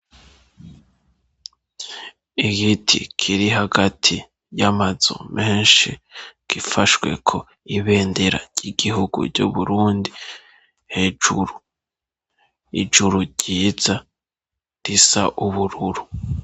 Igiti kiri hagati y'amazo menshi gifashweko ibendera ry'igihugu ryo burundi hejuru ijuru ryiza risa ubururu.